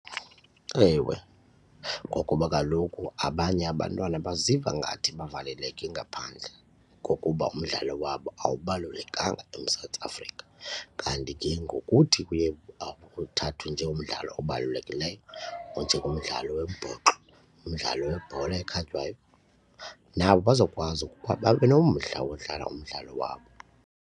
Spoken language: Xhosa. Ewe, ngokuba kaloku abanye abantwana baziva ngathi bavaleleke ngaphandle ngokuba umdlalo wabo awubalulekanga eMzantsi Afrika kanti ke ngokuthi kuye uthathwe njengomdlalo obalulekileyo onjengomdlalo wombhoxo umdlalo webhola ekhatywayo nabo bazokwazi ukuba babe nomdla wodlala umdlalo wabo.